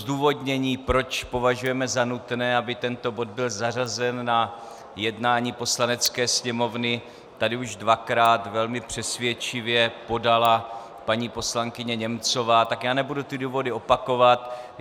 Zdůvodnění, proč považujeme za nutné, aby tento bod byl zařazen na jednání Poslanecké sněmovny, tady už dvakrát velmi přesvědčivě podala paní poslankyně Němcová, tak já nebudu ty důvody opakovat.